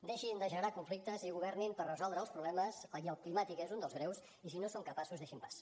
deixin de generar conflictes i governin per resoldre els problemes i el climàtic és un dels greus i si no en són capaços deixin pas